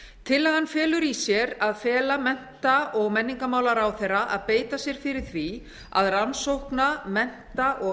tillagan felur í sér að fela mennta og menningarmálaráðherra að beita sér fyrir því að rannsókna mennta og